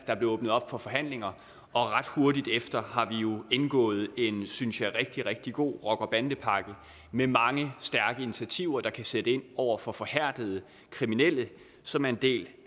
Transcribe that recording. der blev åbnet op for forhandlinger og ret hurtigt derefter har vi jo indgået en synes jeg rigtig rigtig god rocker bande pakke med mange stærke initiativer der kan sætte ind over for forhærdede kriminelle som er en del